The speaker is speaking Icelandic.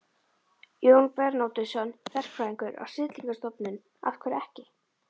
Jón Bernódusson, verkfræðingur á Siglingastofnun: Af hverju ekki?